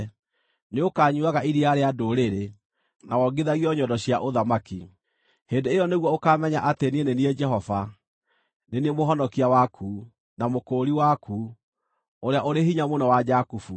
Nĩũkanyuuaga iria rĩa ndũrĩrĩ na wongithagio nyondo cia ũthamaki. Hĩndĩ ĩyo nĩguo ũkaamenya atĩ niĩ nĩ niĩ Jehova, nĩ niĩ Mũhonokia waku, na Mũkũũri waku, Ũrĩa-ũrĩ-Hinya-Mũno wa Jakubu.